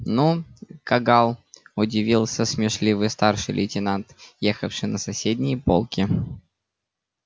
ну кагал удивился смешливый старший лейтенант ехавший на соседней полке